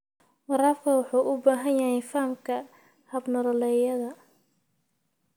Waraabka wuxuu u baahan yahay fahamka hab-nololeedyada.